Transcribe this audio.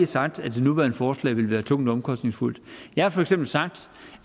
sagt at det nuværende forslag ville være tungt og omkostningsfuldt jeg har for eksempel sagt